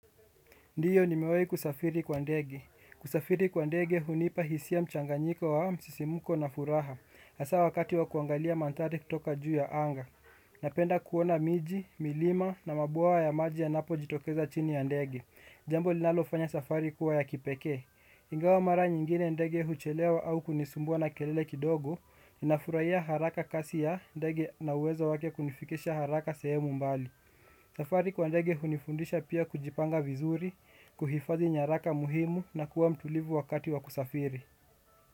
Ndiyo nimewai kusafiri kwa ndege. Kusafiri kwa ndege hunipa hisia mchanganyiko wa msisimuko na furaha. Asa wakati wa kuangalia manthari kutoka juu ya anga. Napenda kuona miji, milima na mabwawa ya maji yanapojitokeza chini ya ndege. Jambo linalofanya safari kuwa ya kipeke. Ingawa mara nyingine ndege huchelewa au kunisumbua na kelele kidogo. Ninafurahia haraka kasi ya ndege na uwezo wake kunifikisha haraka sehemu mbali. Safari kwa ndege hunifundisha pia kujipanga vizuri, kuhifadhi nyaraka muhimu na kuwa mtulivu wakati wa kusafiri.